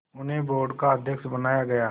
उन्हें बोर्ड का अध्यक्ष बनाया गया